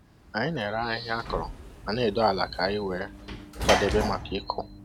Anyị na-ere ahịhịa akọrọ ma na-edo ala ka anyị wee kwadebe maka ịkụ.